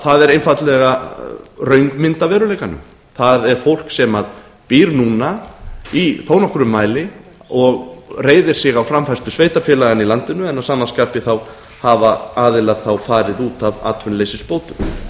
það er einfaldlega röng mynd af veruleika það er fólk sem býr núna í þó nokkrum mæli og reiðir sig á framfærslu sveitarfélaganna í landinu en að sama skapi hafa aðilar farið út af atvinnuleysisbótum